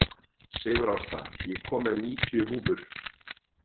Sigurásta, ég kom með níutíu húfur!